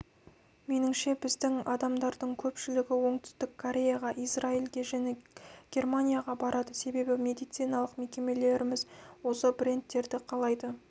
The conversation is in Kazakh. меніңше біздің адамдардың көпшілігі оңтүстік кореяға израильге және германияға барады себебі медициналық мекемелеріміз осы брендтерді қалайды